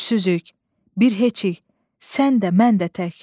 Gücsüzük, bir heçik, sən də, mən də tək.